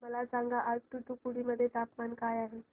मला सांगा आज तूतुकुडी मध्ये तापमान काय आहे